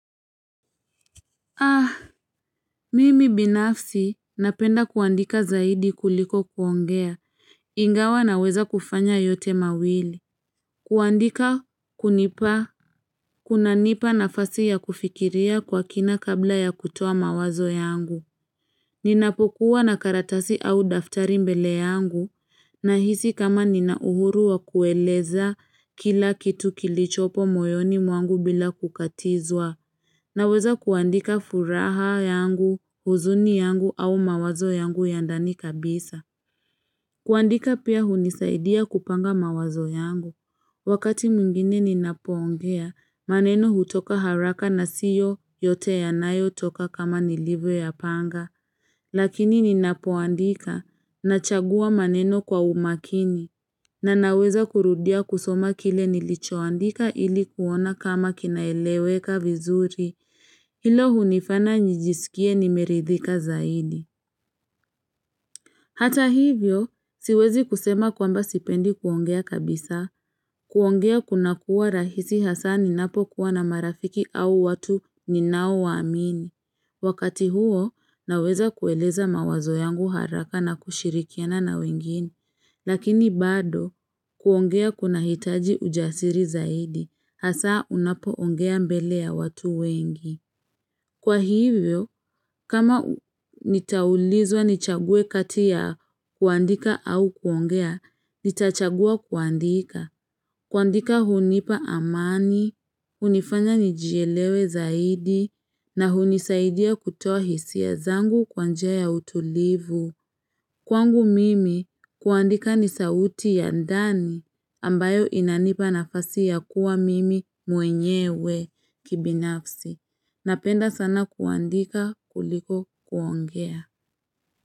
Ah, mimi binafsi napenda kuandika zaidi kuliko kuongea, ingawa naweza kufanya yote mawili kuandika kunipa kunanipa nafasi ya kufikiria kwa kina kabla ya kutoa mawazo yangu Ninapokuwa na karatasi au daftari mbele yangu Nahisi kama nina uhuru wa kueleza kila kitu kilichopo moyoni mwangu bila kukatizwa Naweza kuandika furaha yangu, huzuni yangu au mawazo yangu ya ndani kabisa. Kuandika pia hunisaidia kupanga mawazo yangu. Wakati mungine ninapoongea, maneno hutoka haraka na siyo yote yanayo toka kama nilivyoyapanga. Lakini ninapoandika nachagua maneno kwa umakini. Na naweza kurudia kusoma kile nilichoandika ili kuona kama kinaeleweka vizuri. Hilo hunifana njijisikie nimeridhika zaidi. Hata hivyo, siwezi kusema kwamba sipendi kuongea kabisa. Kuongea kunakua rahisi hasa ninapo kuwa na marafiki au watu ninao waamini. Wakati huo, naweza kueleza mawazo yangu haraka na kushirikiana na wengine. Lakini bado, kuongea kunahitaji ujasiri zaidi. Hasa unapoongea mbele ya watu wengi. Kwa hivyo, kama nitaulizwa nichague kati ya kuandika au kuongea, nitachagua kuandika. Kuandika hunipa amani, hunifanya nijielewe zaidi, na hunisaidia kutoa hisia zangu kwa njia ya utulivu. Kwangu mimi, kuandika ni sauti ya ndani ambayo inanipa nafasi ya kuwa mimi mwenyewe kibinafsi. Napenda sana kuandika kuliko kuongea.